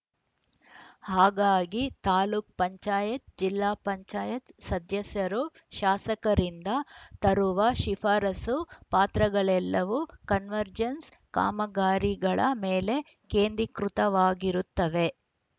ಹಾಗಾಗಿ ತಾಲೂಕ್ ಪಂಚಾಯತ್ ಜಿಲ್ಲಾ ಪಂಚಾಯತ್ ಸದಸ್ಯರು ಶಾಸಕರಿಂದ ತರುವ ಶಿಫಾರಸು ಪಾತ್ರಗಳೆಲ್ಲವೂ ಕನ್ವರ್ಜೆನ್ಸ್‌ ಕಾಮಗಾರಿಗಳ ಮೇಲೆ ಕೇಂದ್ರಿಕೃತವಾಗಿರುತ್ತವೆ